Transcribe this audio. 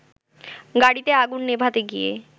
গাড়িতে আগুন নেভাতে গিয়ে